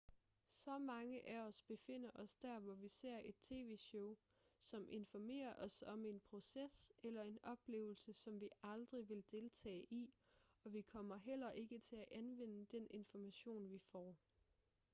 så mange af os befinder os der hvor vi ser et tv-show som informerer os om en proces eller en oplevelse som vi aldrig vil deltage i og vi kommer heller ikke til at anvende den information vi får